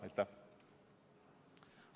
Aitäh!